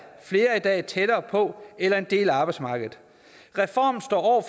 flere er i dag tættere på eller en del af arbejdsmarkedet reformen står